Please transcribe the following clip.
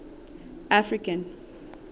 african